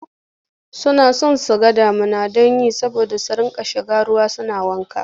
Suna son su ga damuna ta yi saboda su riƙa shiga ruwa suna wanka.